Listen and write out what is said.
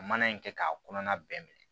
Ka mana in kɛ k'a kɔnɔna bɛɛ minɛ